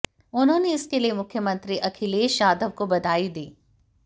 उन्होंने इसके लिए मुख्यमंत्री अखिलेश यादव को बधाई दी